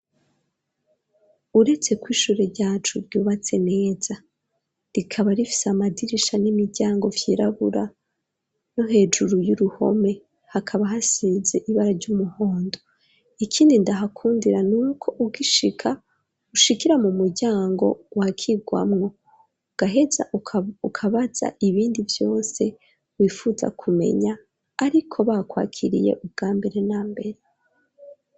Uretse ku ishure ryacu ryubatse neza rikaba rifise amadirisha n'imiryango vyirabura no hejuru y'uruhome hakaba hasize ibara ry'umuhondo ikindi ndahakundira nuko ugishika ushikira mu muryango wa kigwamwo gaheza ukabaza ibindi byose wifuza kumenya ariko bakwakiriye ubwa mbere na mbere.